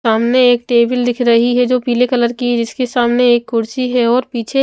सामने एक टेबल दिख रही है जो पीले कलर की जिसके सामने एक कुर्सी है और पीछे--